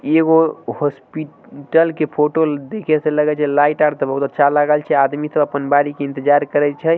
ई एगो हॉस्पिटल के फोटो देखे से लगे छै। लाइट आर ते बहुत अच्छा लागल छै आदमी सब अपन बारी आबे के इन्तजार करे छै।